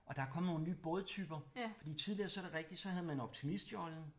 Og der er kommet nogle nye bådtyper fordi tidligere så er det rigtigt så havde man optimistjollen